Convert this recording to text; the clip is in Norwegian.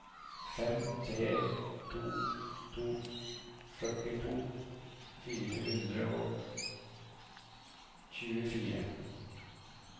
fem tre to to førtito fire hundre og tjuefire